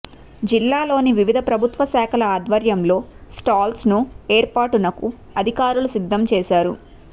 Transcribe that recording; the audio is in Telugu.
జిల్లాలోని వివిధ ప్రభుత్వ శాఖల ఆధ్వర్యంలో స్టాల్స్ను ఏర్పాట్లను అధికారులు సిద్ధం చేశారు